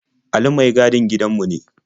Ali mai gadin gidanmu ne.